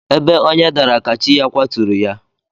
Ebe onye dara ka chi ya kwaturu ya.